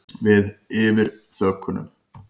Við yfir þökunum.